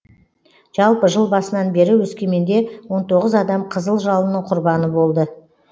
жалпы жыл басынан бері өскеменде он тоғыз адам қызыл жалынның құрбаны болды